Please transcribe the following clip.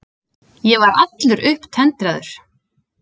Ég var allur upptendraður.